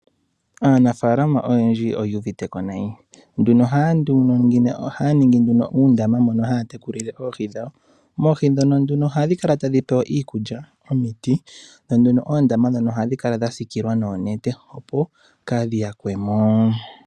Aanafaalama oyendji oyu uvite ko nayi, ohaa ningi nduno uundama mono haa tekulile oohi dhawo. Oohi ndhino nduno ohadhi kala tadhi pewa iikulya, omiti dho nduno oondama ndhono ohadhi kala dha siikilwa oonete opo kaadhi yakwe mo.